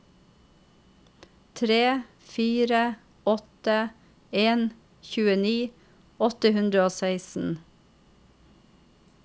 tre fire åtte en tjueni åtte hundre og seksten